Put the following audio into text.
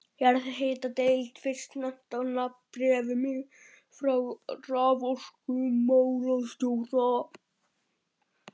Jarðhitadeild fyrst nefnd á nafn í bréfum frá raforkumálastjóra.